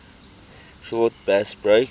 short bass breaks